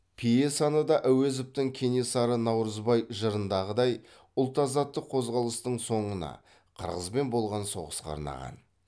пьесаны да әуезовтің кенесары наурызбай жырындағыдай ұлт азаттық қозғалыстың соңына қырғызбен болған соғысқа арнаған